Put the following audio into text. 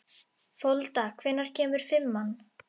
Folda, hvenær kemur fimman?